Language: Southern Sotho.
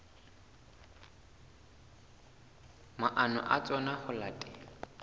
maano a tsona ho latela